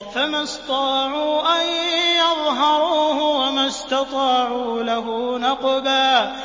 فَمَا اسْطَاعُوا أَن يَظْهَرُوهُ وَمَا اسْتَطَاعُوا لَهُ نَقْبًا